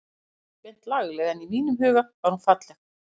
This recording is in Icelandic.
Hún var ekki beint lagleg en í mínum huga var hún falleg.